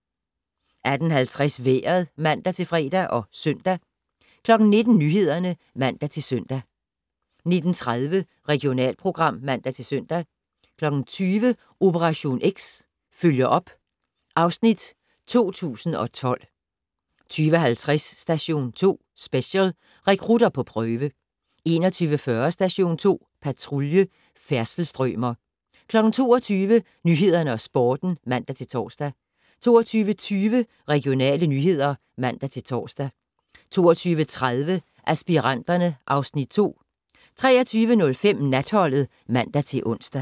18:50: Vejret (man-fre og -søn) 19:00: Nyhederne (man-søn) 19:30: Regionalprogram (man-søn) 20:00: Operation X: Følger op (Afs. 2012) 20:50: Station 2 Special: Rekrutter på prøve 21:40: Station 2 Patrulje: Færdselsstrømer 22:00: Nyhederne og Sporten (man-tor) 22:20: Regionale nyheder (man-tor) 22:30: Aspiranterne (Afs. 2) 23:05: Natholdet (man-ons)